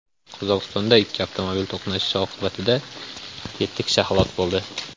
Qozog‘istonda ikki avtomobil to‘qnashishi oqibatida yetti kishi halok bo‘ldi.